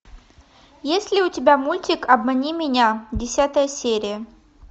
есть ли у тебя мультик обмани меня десятая серия